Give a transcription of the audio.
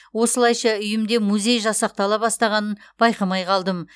осылайша үйімде музей жасақтала бастағанын байқамай қалдым